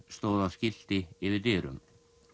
stóð á skilti yfir dyrum